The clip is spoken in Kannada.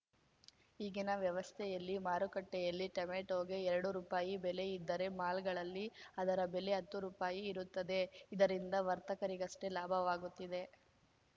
ಈಗಿನ ವ್ಯವಸ್ಥೆಯಲ್ಲಿ ಮಾರುಕಟ್ಟೆಯಲ್ಲಿ ಟೊಮ್ಯಾಟೋಗೆ ಎರಡು ರೂಪಾಯಿ ಬೆಲೆ ಇದ್ದರೆ ಮಾಲ್‌ಗಳಲ್ಲಿ ಅದರ ಬೆಲೆ ಹತ್ತು ರೂಪಾಯಿ ಇರುತ್ತದೆ ಇದರಿಂದ ವರ್ತಕರಿಗಷ್ಟೇ ಲಾಭವಾಗುತ್ತಿದೆ